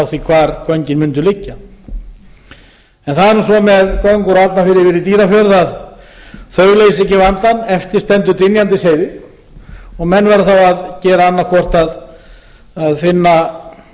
því hvar göngin mundu liggja en það er nú svo með göng úr arnarfirði yfir í dýrafjörð að þau leysa ekki vandann eftir stendur dynjandisheiði og menn verða þá að gera annað hvort að finna